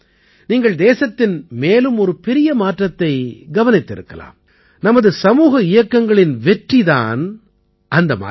நீங்கள் தேசத்தின் மேலும் ஒரு பெரிய மாற்றத்தை கவனித்திருக்கலாம் நமது சமூக இயக்கங்களின் வெற்றி தான் அந்த மாற்றம்